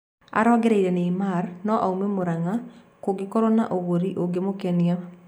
Araongereire Neymar no aume Muranga kũgĩkoro na ũgũri ungĩmũkenia